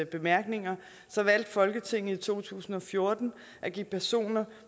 bemærkninger valgte folketinget i to tusind og fjorten at give personer